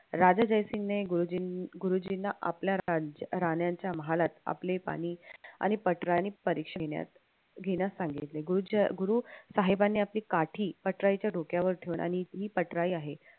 राजा जयसिंगने गुरुजींना आपल्या राण्यांच्या महालात आपले पाणी आणि पटराई घेण्यास सांगितले गुरुसाहेबानी आपली काठी पटराईच्या डोक्यावर ठेऊन आणि ही पटराई आहे